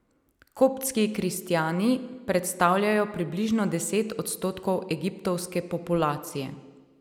Koptski kristjani predstavljajo približno deset odstotkov egiptovske populacije.